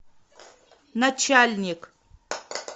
начальник